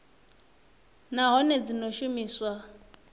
nha nahone dzi o shumiwa